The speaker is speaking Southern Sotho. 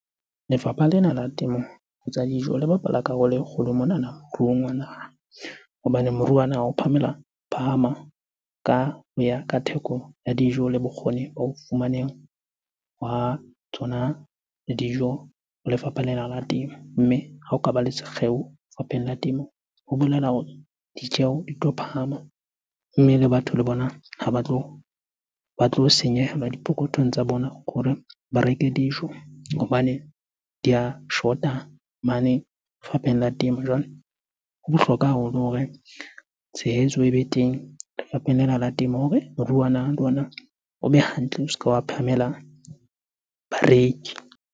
Lefapha lena la temo ho tsa dijo le bapala karolo e kgolo monana moruong wa naha. Hobane moruo wa naha o phamela, phahama ka ho ya ka theko ya dijo le bokgoni ba ho fumaneha hwa tsona dijo ho lefapha lena la temo. Mme ha o kaba le sekgeo lefapheng la temo, ho bolela hore ditjeho di tlo phahama mme le batho le bona ha ba tlo senyehelwa diphokothong tsa bona hore ba reke dijo hobane di a shota mane lefapheng la Temo. Jwale ho bohlokwa haholo hore tshehetso ebe teng lefapheng lena la temo hore moruo wa naha le ona o be hantle, o se ke wa phahamela bareki.